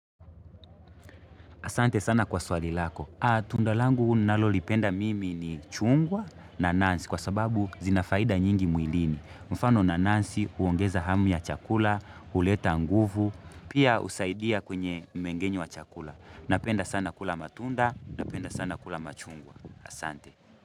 Asante sana kwa swali lako. Tunda langu nalolipenda mimi ni chungwa, nanasi kwa sababu zina faida nyingi mwilini. Mfano nanasi huongeza hamu ya chakula, huleta nguvu, pia husaidia kwenye mmengenyo wa chakula. Napenda sana kula matunda, napenda sana kula machungwa. Asante.